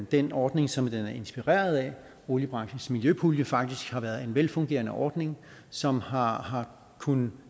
den ordning som den er inspireret af oliebranchens miljøpulje faktisk har været en velfungerende ordning som har har kunnet